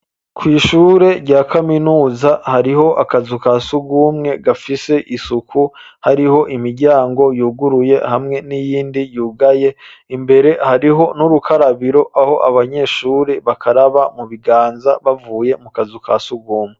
Kw'ishurirya kaminuza hariho akazu kasugumwe gafise isuku hariho imiryango yuguruye hamwe n'iyindi yugaye imbere hariho n'urukarabiro aho abanyeshuri bakaraba mu biganza bavuye mu kazu kasugumwe.